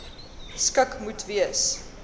skik moes gewees